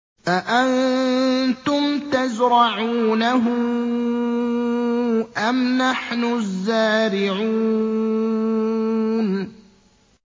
أَأَنتُمْ تَزْرَعُونَهُ أَمْ نَحْنُ الزَّارِعُونَ